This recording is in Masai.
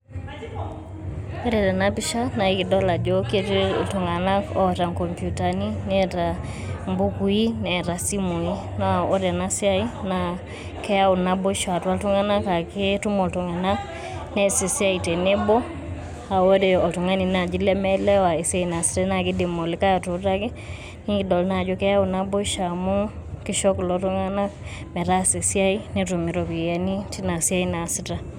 Ore tena pisha naa kidol ajo ketii iltung'anak oota inkoputani, neeta imbukuui neeta isimui ore ena siaai naa keyau naboishu atua iltung'anak aaketuma iltung'anak nees esiai tenebo paa ore oltun g'ani naaji lemieelewa esiaai naasitai naa kiidi olikae atuutaki, nikidol naa ajo keyau naboishu amu kisho kulo tung'anak metaasa esiai netum iropiyiani tina siaai naasita.